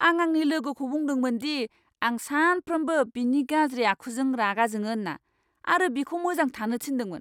आं आंनि लोगोखौ बुंदोंमोन दि आं सानफ्रोमबो बिनि गाज्रि आखुजों रागा जोङो होन्ना आरो बिखौ मोजां थानो थिन्दोंमोन!